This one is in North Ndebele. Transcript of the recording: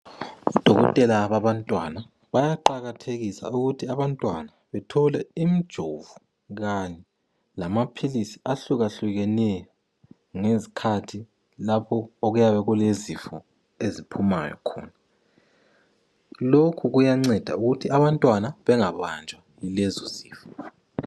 Odokotela babantwana bayaqakathekisa ukuthi abantwana bathole imijovo kanye lamaphilisi ahlukahlukeneyo ngezikhathi lapho okuyabe kulezifo eziphumayo khona, lokhu kuyacenda ukuthi abantwana bengabanjwa yilezo sifo.